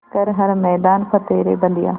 कर हर मैदान फ़तेह रे बंदेया